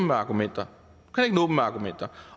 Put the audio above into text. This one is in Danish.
med argumenter